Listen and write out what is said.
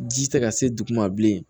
Ji tɛ ka se duguma bilen